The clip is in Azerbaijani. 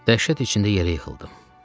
Dəhşət içində yerə yıxıldım